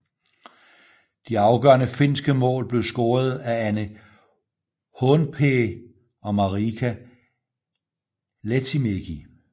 De afgørende finske mål blev scoret af Anne Haanpää og Marika Lehtimäki